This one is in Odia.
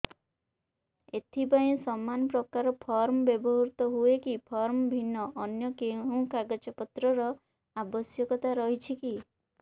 ଏଥିପାଇଁ ସମାନପ୍ରକାର ଫର୍ମ ବ୍ୟବହୃତ ହୂଏକି ଫର୍ମ ଭିନ୍ନ ଅନ୍ୟ କେଉଁ କାଗଜପତ୍ରର ଆବଶ୍ୟକତା ରହିଛିକି